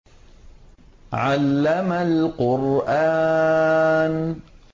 عَلَّمَ الْقُرْآنَ